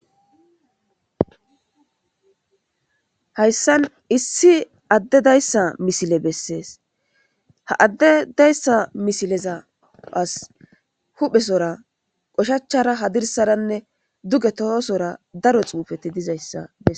hayssan issi adde dayssa misile bessees ha adde dayssa misileza as huphesora oshachchara hadirsaranne duge tohosora daro xuufeti dizayssa bessees